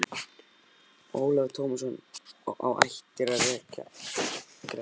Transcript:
Og Ólafur Tómasson á ættir að rekja til Grettis.